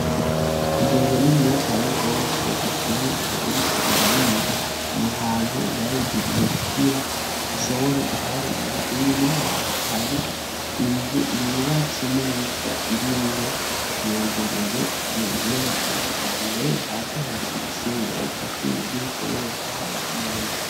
Ingurube niniya cane gose ivyibushe iriko irarira ahantu bayigiriye kugira ishobore ku harira inyuma yayo hari inzu yubatse neza irimwo iyo ngurube mu buhinga bwa kijambere hasi hari ivyo ifise bayisasiye kugira ishoboshe kuhaba neza.